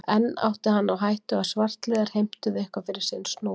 Enn átti hann á hættu að svartliðar heimtuðu eitthvað fyrir snúð sinn.